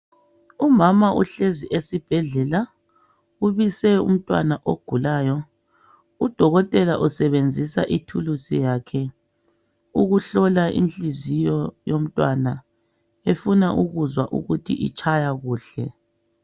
Umama uhlezi esibhedlela ubise umntwana ogulayo udokotela usebenzisa ithuluzi yakhe ukuhlola inhliziyo yomntwana efuna ukuzwa ukuthi itshaya kuhle